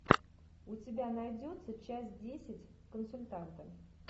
у тебя найдется часть десять консультанта